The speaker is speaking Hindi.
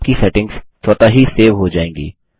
आपकी सेटिंग्स स्वतः ही सेव हो जायेंगी